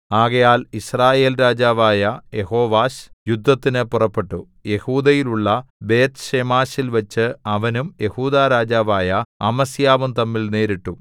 ആകയാൽ യിസ്രായേൽ രാജാവായ യെഹോവാശ് യുദ്ധത്തിന് പുറപ്പെട്ടു യെഹൂദയിലുള്ള ബേത്ത്ശേമെശിൽവെച്ച് അവനും യെഹൂദാ രാജാവായ അമസ്യാവും തമ്മിൽ നേരിട്ടു